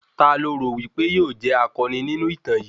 Ta lo rò wípé yóò jẹ́ akọni nínú ìtàn yìí?